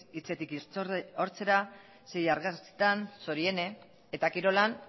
hitzetik hortzera sei argazkitan txoriene eta kirolan